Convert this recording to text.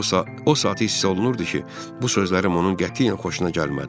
O saat hiss olunurdu ki, bu sözlərim onun qətiyyən xoşuna gəlmədi.